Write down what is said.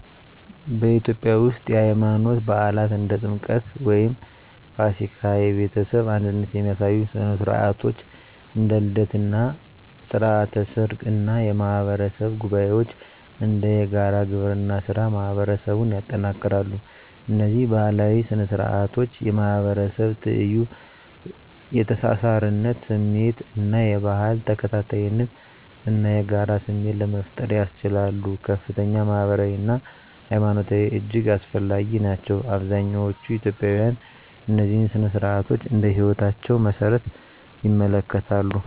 በኢትዮጵያ ውስጥ፣ የሃይማኖት በዓላት (እንደ ጥምቀት ወይም ፋሲካ)፣ የቤተሰብ አንድነት የሚያሳዩ ሥነ ሥርዓቶች (እንደ ልደት እና ሥርዓተ ሰርግ) እና የማህበረሰብ ጉባኤዎች (እንደ የጋራ ግብርና ሥራ) ማህበረሰቡን ያጠናክራሉ። እነዚህ ባህላዊ ሥነ ሥርዓቶች የማህበረሰብ ትይዩ፣ የተሳሳርነት ስሜት እና የባህል ተከታታይነት እና የጋራ ስሜት ለመፍጠር ያስችሉ ከፍተኛ ማህበራዊ አና ሀይማኖታዊ እጅግ አስፈላጊ ናቸው። አብዛኛዎቹ ኢትዮጵያውያን እነዚህን ሥነ ሥርዓቶች እንደ ህይወታቸው መሰረት ይመለከታሉ።